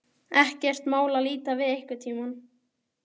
Ekkert mál að líta við einhvern tíma.